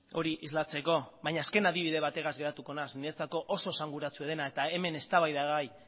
hori islatzeko baina azken adibide bategaz geratuko naiz niretzako oso esanguratsua dena eta hemen eztabaida ere bai